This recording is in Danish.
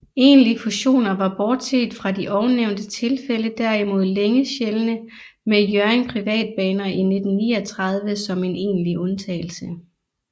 Egentlige fusioner var bortset fra de ovennævnte tilfælde derimod længe sjældne med Hjørring Privatbaner i 1939 som en enlig undtagelse